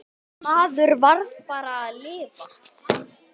Maður varð bara að lifa.